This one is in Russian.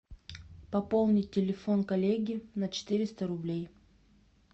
пополнить телефон коллеги на четыреста рублей